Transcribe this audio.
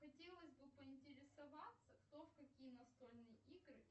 хотелось бы поинтересоваться кто в какие настольные игры